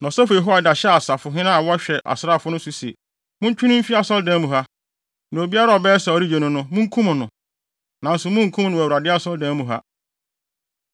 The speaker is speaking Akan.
Na ɔsɔfo Yehoiada hyɛɛ asafohene a wɔhwɛ asraafo no so no se, “Montwe no mfi Asɔredan mu ha, na obiara a ɔbɛyɛ sɛ ɔregye no no, munkum no. Nanso munnkum no wɔ Awurade Asɔredan mu ha.”